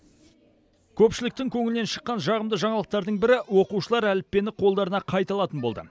көпшіліктің көңілінен шыққан жағымды жаңалықтардың бірі оқушылар әліппені қолдарына қайта алатын болды